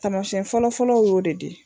Taamasiyɛn fɔlɔfɔlɔ y'o de di.